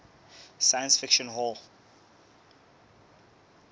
science fiction hall